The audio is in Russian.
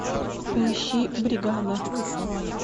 поищи бригада